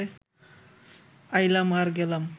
আইলাম আর গেলাম